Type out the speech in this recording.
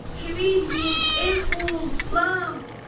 Kömək eləyin, Ef-ful-land!